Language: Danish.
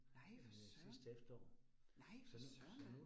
Nej for søren. Nej for søren da